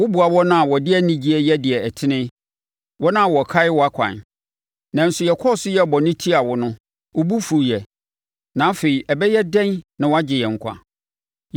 Woboa wɔn a wɔde anigyeɛ yɛ deɛ ɛtene, wɔn a wɔkae wʼakwan. Nanso yɛkɔɔ so yɛɛ bɔne tiaa wo no, wo bo fuiɛ. Na afei ɛbɛyɛ dɛn na woagye yɛn nkwa?